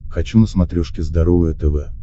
хочу на смотрешке здоровое тв